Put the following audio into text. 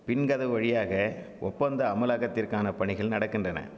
பின்கதவு வழியாக ஒப்பந்த அமலாக்கத்திற்கான பணிகள் நடக்கின்றன